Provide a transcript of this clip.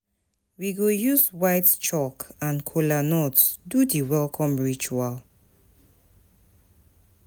We go use white chalk and kola nut do di welcome ritual.